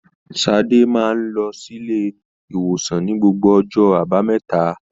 Sade máa n lọ silé-ìwòsàn ní gbogbo ọjọ́ àbámẹ́ta